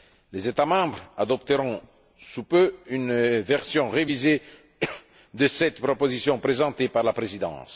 Les États membres adopteront sous peu une version révisée de cette proposition présentée par la Présidence.